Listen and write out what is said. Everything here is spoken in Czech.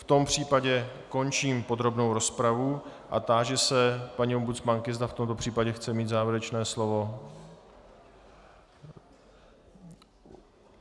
V tom případě končím podrobnou rozpravu a táži se paní ombudsmanky, zda v tomto případě chce mít závěrečné slovo.